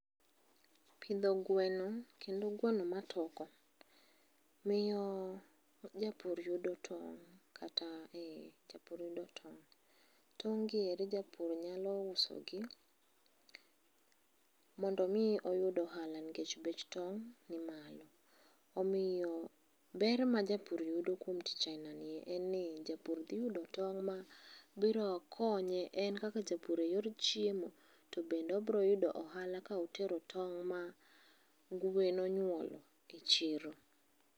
Pidho gweno kendo gweno matoko, miyo japur yudo tong'. Tong' gi eri japur nyalo usogi, mondo omi oyud ohala nkech bech tong' ni malo. Omiyo ber ma japur yudo kuom tich aina ni en ni japur dhi yudo tong' mabiro konye en kaka japur e yor chiemo to bende obro yudo ohala ka otero tong' ma gwen onyuolo e chiro.